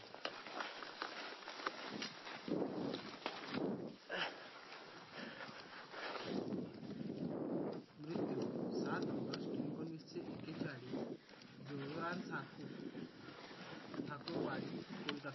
मृत्यू सात ऑगस्ट एकोणविशे एकेचाळीस जोधारान ठाकू ठाकूरवाडी कोलकत्ता